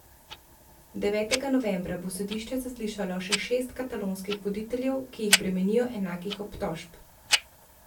Devetega novembra bo sodišče zaslišalo še šest katalonskih voditeljev, ki jih bremenijo enakih obtožb.